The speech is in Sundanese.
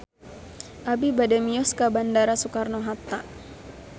Abi bade mios ka Bandara Soekarno Hatta